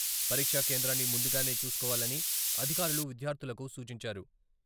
పరీక్షా కేంద్రాన్ని ముందుగానే చూసుకోవాలని అధికారులు విద్యార్థులకు సూచించారు.